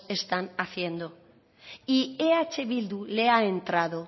están haciendo y eh bildu le ha entrado